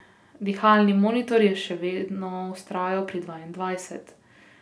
Dihalni monitor je še vedno vztrajal pri dvaindvajset.